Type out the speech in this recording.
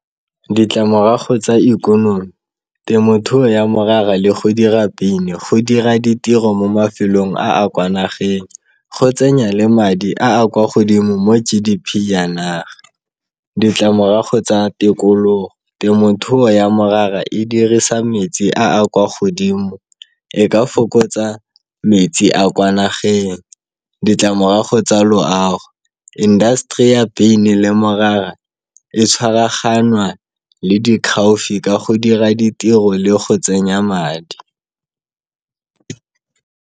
Ditlamorago tsa ikonomi, temothuo ya morara le go dira beine go dira ditiro mo mafelong a a kwa nageng. Go tsenya le madi a a kwa godimo mo G_D_P ya naga. Ditlamorago tsa tikologo, temothuo ya morara, e dirisa metsi a a kwa godimo, e ka fokotsa metsi a kwa nageng, ditlamorago tsa loago. Industry ya beine le morara e tshwaraganwa le di ka go dira ditiro le go tsenya madi.